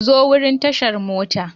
Ku zo wurin tashar mota.